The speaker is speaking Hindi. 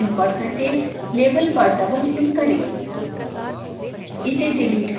heat input in percentage label पर डबलक्लिक करें